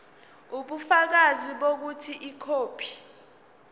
ubufakazi bokuthi ikhophi